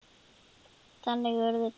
Þannig urðu til